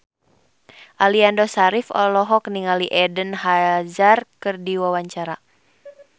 Aliando Syarif olohok ningali Eden Hazard keur diwawancara